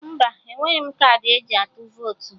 Mba, enweghị m kaadị eji atụ votu